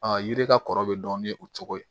yiri ka kɔrɔ bɛ dɔn ni o cogo ye